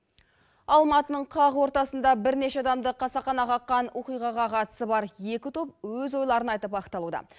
алматының қақ ортасында бірнеше адамды қасақана қаққан оқиғаға қатысы бар екі топ өз ойларын айтып ақталуда